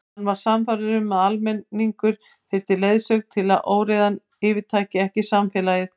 Hann var sannfærður um að almenningur þyrfti leiðsögn til að óreiðan yfirtæki ekki samfélagið.